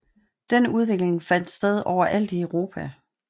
Den udvikling fandt sted overalt Europa